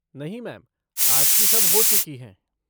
नहीं मैम, आज की सब हो चुकी हैं।